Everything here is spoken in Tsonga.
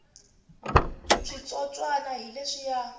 switsotswana hi leswiya